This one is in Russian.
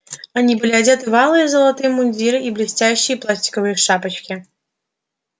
они были одеты в алые с золотом мундиры и блестящие пластиковые шапочки